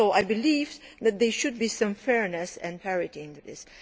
I believe that there should be some fairness and parity in this.